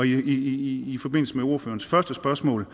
i forbindelse med ordførerens første spørgsmål